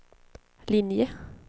linje